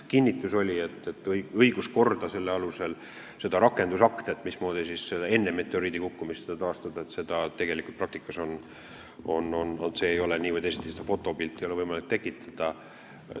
Kinnitus oli rakendusaktide kohta, et kui ka enne selle meteoriidi kukkumist tahta õiguskorda taastada, siis tegelikult ei ole praktikas nii või teisiti võimalik seda fotopilti tekitada.